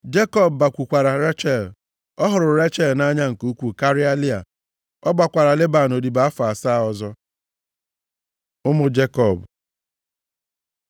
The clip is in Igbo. Jekọb bakwukwara Rechel. Ọ hụrụ Rechel nʼanya nke ukwuu karịa Lịa. Ọ gbakwaara Leban odibo afọ asaa ọzọ. Ụmụ Jekọb